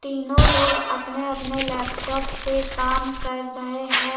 तीनों लोग अपने-अपने लैपटॉप से काम कर रहे हैं।